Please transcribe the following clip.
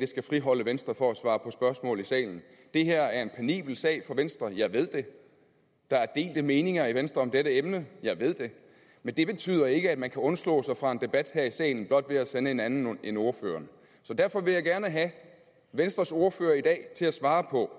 det skal friholde venstre for at svare på spørgsmål i salen det her er en penibel for venstre jeg ved det der er delte meninger i venstre om dette emne jeg ved det men det betyder ikke at man kan undslå sig fra en debat her i salen blot ved at sende en anden end ordføreren derfor vil jeg gerne have venstres ordfører i dag til at svare på